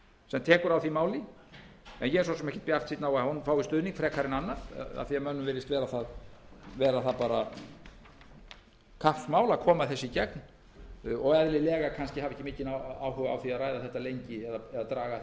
sem tekur á því máli en ég er svo sem ekkert bjartsýnn á að hún fái stuðning frekar en annað af því að mönnum virðist vera kappsmál að koma þessu í gegn og hafa eðlilega kannski ekki mikinn áhuga á að ræða þetta lengi eða draga að þessu